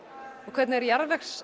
hvernig er